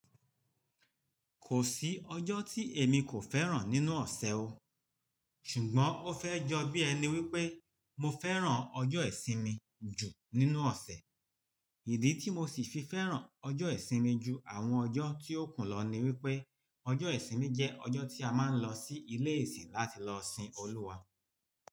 Kò sí ọjọ́ tí èmi kò fẹ́ràn nínú ọ̀sẹ̀ o. Ṣùgbọ́n ó fẹ́ jọ bí ẹni wípé mo fẹ́ràn ọjọ́ ìsinmi jù nínú ọ̀sẹ̀. Ìdí tí mo sì fi fẹ́ràn ọjọ́ ìsinmi ju àwọn ọjọ́ tí ó kù lọ ni wípé ọjọ́ ìsinmi jẹ́ ọjọ́ tí a máa ń lọ sí ilé ìsìn láti lọ sin Olúwa.